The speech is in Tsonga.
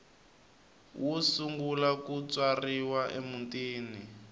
wo sungula ku tswariwa emutini